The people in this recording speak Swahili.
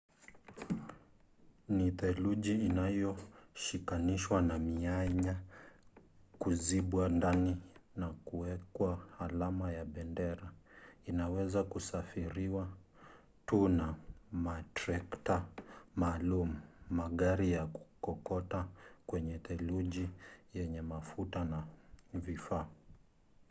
ni theluji iliyoshikanishwa na mianya kuzibwa ndani na kuwekwa alama ya bendera. inaweza kusafiriwa tu na matrekta maalum magari ya kukokota kwenye theluji yenye mafuta na vifaa